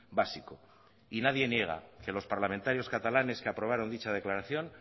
básico y nadie niega que los parlamentarios catalanes que aprobaron dicha declaración